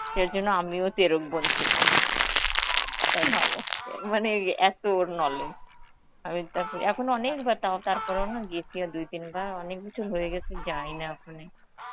সেরজন্য আমিও তেরোকবন ছিলাম. অ্যাঁ অ্যাঁ মানে এই এত ওর knowledge, আমি তারপরে, এখন অনেক বার তার~ তারপরেওনা গেছি আর দুই-তিন বার, বছর হয়ে গেছে যাইনা ওখানে.